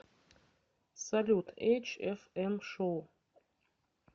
салют эйч эф эм шоу